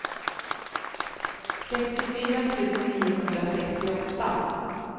sextiofyra tusen niohundrasextioåtta